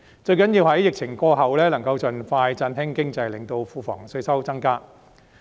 最重要的是在疫情過後，能夠盡快振興經濟，令庫房稅收增加。